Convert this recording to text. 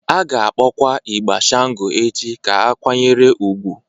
A ga-akpọkwa ịgbà Shango echi ka a kwanyere ugwu.